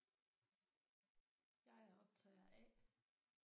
Jeg er optager A